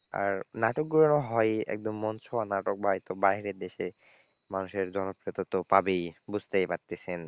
আর নাটকগুলো হয়ই একদম মন ছোঁয়া নাটক ভাই তো বাইরের দেশে মানুষের জনপ্রিয়তা তো পাবেই বুঝতেই পারতেছেন।